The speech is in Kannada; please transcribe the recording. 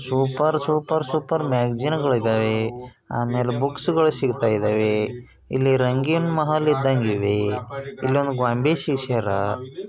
ಸೂಪರ್ ಸೂಪರ್ ಸೂಪರ್ ಮ್ಯಾಗಜಿನ್ಗಳಿದಾವೆ ಆಮೇಲೆ ಬುಕ್ಸ್ ಗಳು ಸಿಕ್ತಾ ಇದಾವೆ ಇಲ್ಲಿ ರಂಗಿನ್ ಮಹಲ್ ಇದಾವೆ ಇನ್ನೊಂದು ಗೊಂಬೆ ಸಿಗ್ಸ್ಯಾರ .